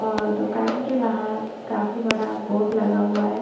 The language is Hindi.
ओर दुकान के बाहर काफी बड़ा बोर्ड लगा हुआ है ।